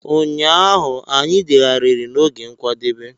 Ụnyaahụ, anyị degharịrị n'oge nkwadebe.